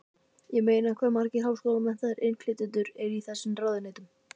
Ég meina hvað margir háskólamenntaðir innflytjendur eru í þessum ráðuneytum?